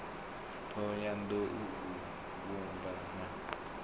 thohoyanḓ ou u sumba na